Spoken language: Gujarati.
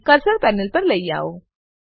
અને કર્સરને પેનલ પર લઇ આવો